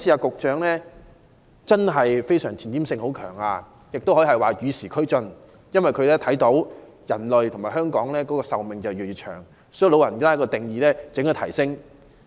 局長這次有很強的前瞻性，可以說是與時俱進，因為他看到人類和香港市民的壽命越來越長，所以長者的年齡定義應予提高。